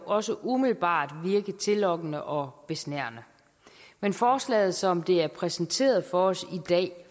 også umiddelbart virke tillokkende og besnærende men forslaget som det er præsenteret for os i dag